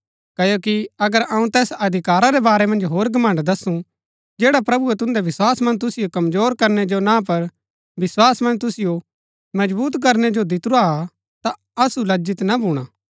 क्ओकि अगर अऊँ तैस अधिकारा रै बारै मन्ज होर घमण्ड़ दसूं जैडा प्रभुऐ तुन्दै विस्वास मन्ज तुसिओ कमजोर करनै जो ना पर विस्वास मन्ज तुसिओ मजबुत करनै जो दितुरा हा ता असु लज्जित ना भूणा